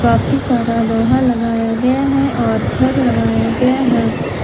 काफी सारा लोहा लगाया गया है और छड़ लगाया गया है।